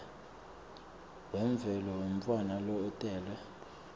wemvelo wemntfwana lotelwe